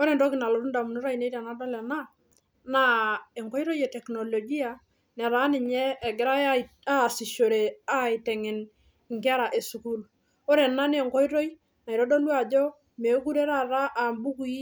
Ore entoki nalotu indamunot ainei tenadol ena naa enkoitoi e teknolojia netaa ninye egirae ae asishore aiteng'en inkera esukuul ore ena nenkoitoi naitodolu ajo mekure taata ambukui